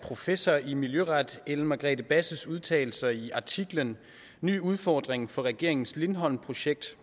af professor i miljøret ellen margrethe basses udtalelser i artiklen ny udfordring for regeringens lindholmprojekt